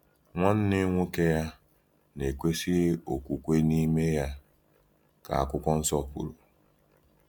“Nwanne nwoke ya na-ekwesịghị okwukwe n’ime ya,” ka Akwụkwọ Nsọ kwuru.